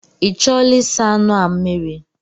Ị chọọla ịsa anụ a mmiri?